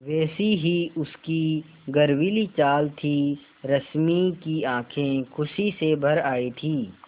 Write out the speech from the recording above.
वैसी ही उसकी गर्वीली चाल थी रश्मि की आँखें खुशी से भर आई थीं